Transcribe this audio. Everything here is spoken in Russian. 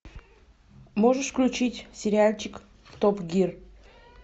можешь включить сериальчик топ гир